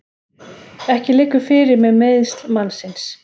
Ekki liggur fyrir með meiðsl mannsins